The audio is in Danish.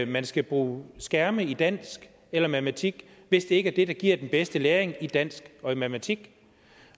man skal bruge skærme i dansk eller i matematik hvis det ikke er det der giver den bedste læring i dansk og i matematik